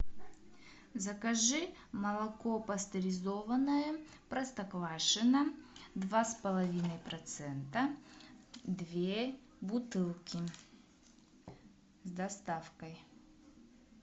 закажи молоко пастеризованное простоквашино два с половиной процента две бутылки с доставкой